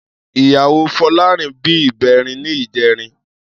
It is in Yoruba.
Iyáwó Folarin bi ibèrín nijèrin